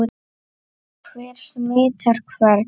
Hver smitar hvern?